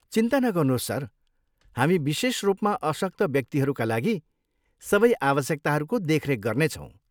चिन्ता नगर्नुहोस्, सर, हामी विशेष रूपमा अशक्त व्यक्तिका लागि सबै आवश्यकताहरूको देखरेख गर्नेछौँ।